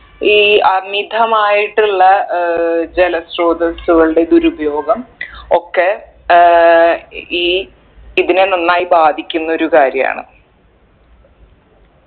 ഈ അമിതമായിട്ടുള്ള ഏർ ജലസ്രോതസുകളുടെ ദുരുപയോഗം ഒക്കെ ഏർ ഈ ഇതിനെ നന്നായി ബാധിക്കുന്നൊരു കാര്യാണ്